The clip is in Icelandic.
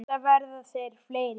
Varla verða þeir fleiri.